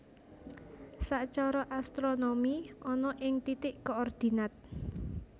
Sacara astronomi ana ing titik koordinat